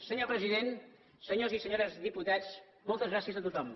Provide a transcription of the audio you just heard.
senyor president senyors i senyores diputats moltes gràcies a tothom